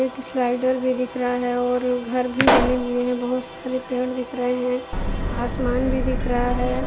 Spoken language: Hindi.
एक स्लाइडर भी दिख रहा है और घर भी बने हुए दिख रहे है बहुत सारे पेड़ दिख रहे है आसमान भी दिख रहा हैं।